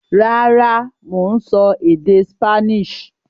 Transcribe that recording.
Rárá, mò ń sọ èdè Spanish